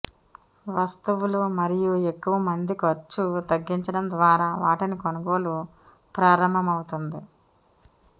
వస్తువులు మరియు ఎక్కువ మంది ఖర్చు తగ్గించడం ద్వారా వాటిని కొనుగోలు ప్రారంభమవుతుంది